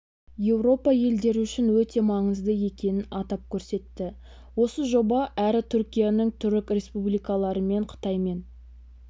еуропа елдері үшін өте маңызды екенін атап көрсетті осы жоба әрі түркияны түрік республикаларымен қытаймен